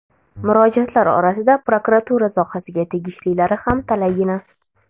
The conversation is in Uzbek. Murojaatlar orasida prokuratura sohasiga tegishlilari ham talaygina.